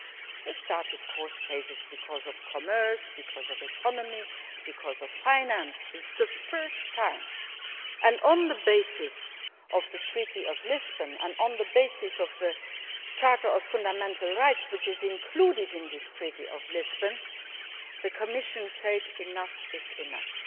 We have started court cases because of commerce, because of the economy, because of finance, but this is the first time, on the basis of the Treaty of Lisbon and on the basis of the Charter of Fundamental Rights which is included in this Treaty of Lisbon, that the Commission has said enough is enough.